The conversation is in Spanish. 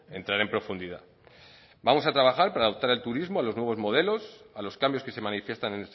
entrar en profundidad vamos a trabajar para adaptar el turismo a los nuevos modelos a los cambios que se manifiestan